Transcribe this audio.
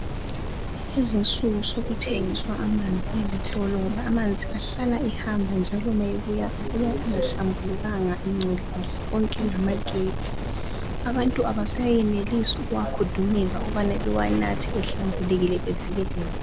Kulezi insuku sekuthengiswa amanzi ezitolo ngoba amanzi ahlala ehamba njalo nxa buya ayabe engahlambulukanga engcolile, konke lamagetsi. Abantu abaseyenelisi ukuwakudumeza ukubana bawanathe ehlambulukile bevikelekile